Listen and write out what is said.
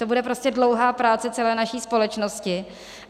To bude prostě dlouhá práce celé naší společnosti.